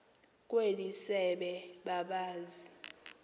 kweli sebe babazi